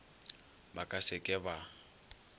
ba ka se ke ba